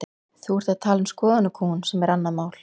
Þú ert að tala um skoðanakúgun sem er annað mál.